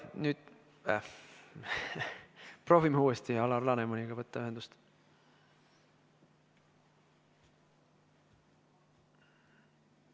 Proovime uuesti Alar Lanemaniga ühendust võtta.